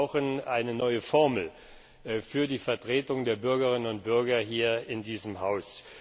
Wir brauchen eine neue Formel für die Vertretung der Bürgerinnen und Bürger hier in diesem Haus.